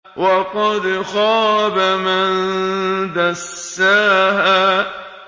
وَقَدْ خَابَ مَن دَسَّاهَا